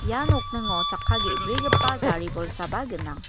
ia nokningo chakka ge·brigipa gari bolsaba gnang.